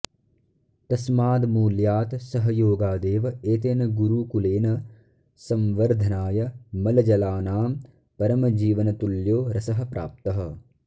तस्मादमूल्यात् सहयाेगादेव एतेन गुरूकुलेन सम्वर्द्धनाय मलजलानां परमजीवनतुल्याे रसः प्राप्तः